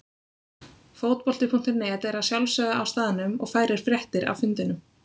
Fótbolti.net er að sjálfsögðu á staðnum og færir fréttir af fundinum.